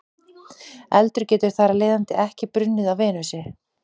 Eldur getur þar af leiðandi ekki brunnið á Venusi.